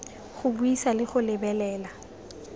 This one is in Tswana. go buisa le go lebelela